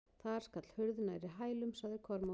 Þar skall hurð nærri hælum, sagði Kormákur.